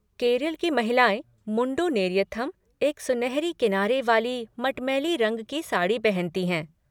केरल की महिलाएँ मुंडू नेरियथम, एक सुनहरी किनारी वाली मटमैली रंग की साड़ी पहनती हैं।